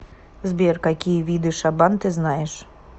сбер какие виды шабан ты знаешь